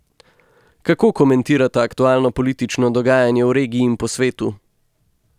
Kako komentirata aktualno politično dogajanje v regiji in po svetu?